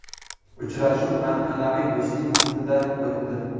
Uchrashuv an’anaviy do‘stlik muhitida o‘tdi.